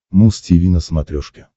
муз тиви на смотрешке